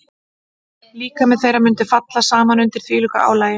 Líkami þeirra mundi falla saman undir þvílíku álagi.